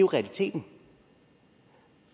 realiteten